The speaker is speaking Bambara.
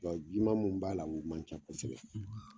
Wa jiman munnu b'a la u man ca kosɛbɛ.